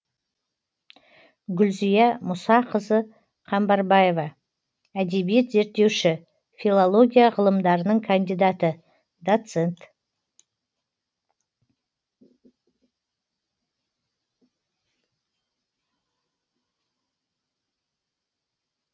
гүлзия мұсақызы қамбарбаева әдебиет зерттеуші филология ғылымдарының кандидаты доцент